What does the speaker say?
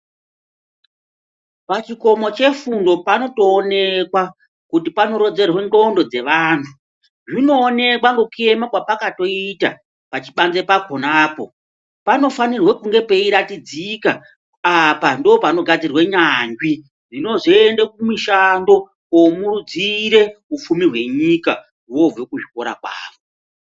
Pachikomo chefundo panotowonekwa, kuti panorodzerwe ngxondo dzevanhu. Zvinowonekwa ngekuyema pakatoita pachipandze pakhonapho. Panofanirwe kunge peyiratidzika apa ndopanogadzirwe nyandzvi dzinozvoenda kumishando womudzire wupfumi wenyika wobve kuzvikorakwavo.